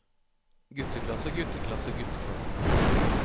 gutteklasser gutteklasser gutteklasser